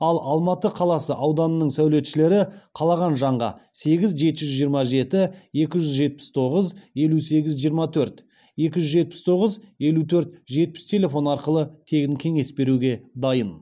ал алматы қаласы ауданының сәулетшілері қалаған жанға сегіз жеті жүз жиырма жеті екі жүз жетпіс тоғыз елу сегіз жиырма төрт екі жүз жетпіс тоғыз елу төрт жетпіс телефон арқылы тегін кеңес беруге дайын